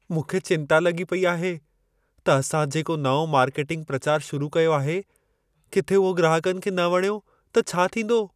मूंखे चिंता लॻी पई आहे त असां जेको नओं मार्केटिंग प्रचार शुरु कयो आहे, किथे उहो ग्राहकनि खे न वणियो त छा थींदो?